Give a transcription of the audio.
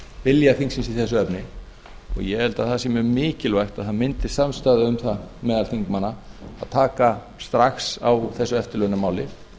vilja þingsins í þessu efni og ég held að það sé mjög mikilvægt að það myndist samstaða um það meðal þingmanna að taka strax á þessu eftirlaunamálinu